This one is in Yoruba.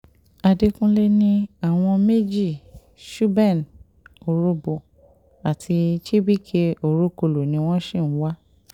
àdẹkùnlé ní àwọn méjì chuben orhobo àti chibike orokolo ni wọ́n sì ń wá